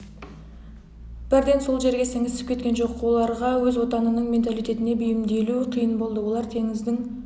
бірден сол жерге сіңісіп кеткен жоқ оларға өз отанының менталитетіне бейімделу қиын болды олар теңіздің